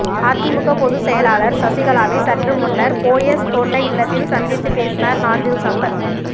அதிமுக பொதுச் செயலாளர் சசிகலாவை சற்றுமுன்னர் போயஸ் தோட்ட இல்லத்தில் சந்தித்து பேசினார் நாஞ்சில் சம்பத்